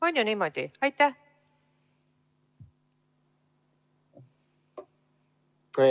On ju niimoodi?